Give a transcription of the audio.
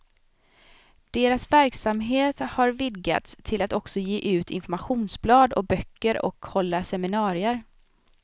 Deras verksamhet har vidgats till att också ge ut informationsblad och böcker och hålla seminarier.